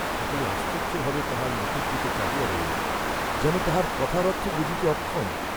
সকলে আশ্চর্য্য ভাবে তাঁহার মুখের দিকে চাহিয়া রহিল, যেন তাঁহার কথার অর্থ বুঝিতে অক্ষম।